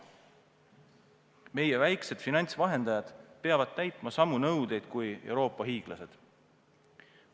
Meie väiksed finantsvahendajad peavad täitma samu nõudeid kui Euroopa hiiglased.